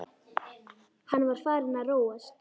Hann var farinn að róast.